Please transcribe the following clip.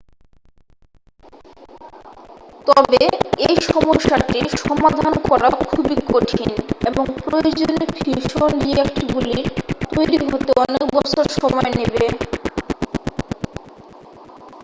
তবে এই সমস্যাটি সমাধান করা খুবই কঠিন এবং প্রয়োজনীয় ফিউশন রিঅ্যাক্টরগুলি তৈরি হতে অনেক বছর সময় নেবে